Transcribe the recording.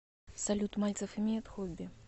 салют мальцев имеет хобби